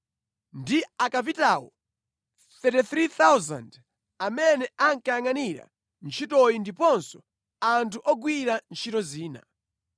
ndi akapitawo 33,000 amene ankayangʼanira ntchitoyi ndiponso anthu ogwira ntchito zina.